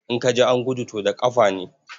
In ka ji an gudu, to da ƙafa ne.